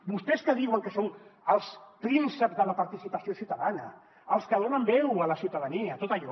vostès que diuen que són els prínceps de la participació ciutadana els que donen veu a la ciutadania tot allò